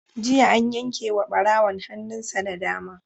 Jiya an yanke wa ɓarawon hannun sa na dama.